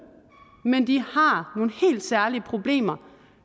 men de har nogle helt særlige problemer